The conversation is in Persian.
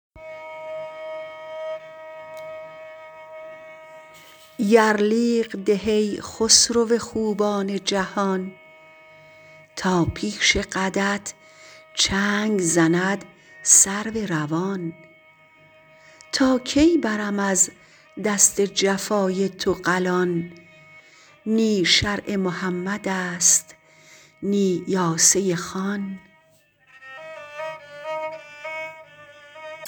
یرلیغ ده ای خسرو خوبان جهان تا پیش قدت چنگ زند سرو روان تا کی برم از دست جفای تو قلان نی شرع محمدست نی یاسه خان